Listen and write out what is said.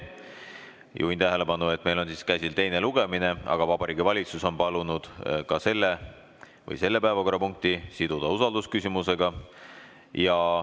Juhin tähelepanu, et meil on käsil teine lugemine, aga Vabariigi Valitsus on palunud selle päevakorrapunkti siduda usaldusküsimusega.